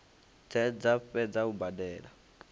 dze dza fhedza u badela